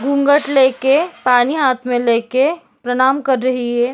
घूँघट लेके पानी हाथ में लेके प्रणाम कर रही है।